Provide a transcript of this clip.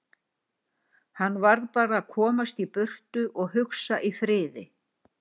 Hann varð bara að komast í burtu og hugsa í friði.